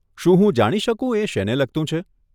શું હું જાણી શકું, એ શેને લગતું છે?